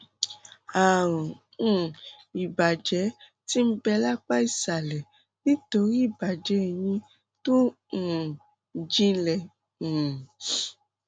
ààrùn um ìbàjẹ tí ń bẹ lápá ìsàlẹ nítorí ìbàjẹ eyín tó um jinlẹ um